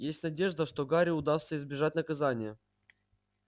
есть надежда что гарри удастся избежать наказания